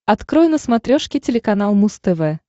открой на смотрешке телеканал муз тв